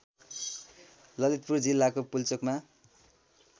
ललितपुर जिल्लाको पुल्चोकमा